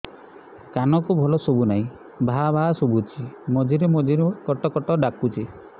କାନକୁ ଭଲ ଶୁଭୁ ନାହିଁ ଭାଆ ଭାଆ ଶୁଭୁଚି ମଝିରେ ମଝିରେ କଟ କଟ ଡାକୁଚି